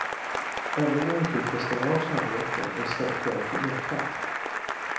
Övningen gick ut på att stänga av kärnreaktorn och istället gå över till elkraft.